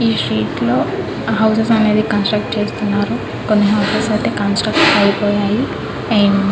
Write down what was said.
ఈ స్ట్రీట్ లో హౌసెస్ అనేవి కన్స్ట్రక్షన్ చేస్తున్నారు కొంత కన్స్ట్రక్షన్ అయిపోయాయి.